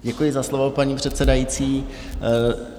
Děkuji za slovo, paní předsedající.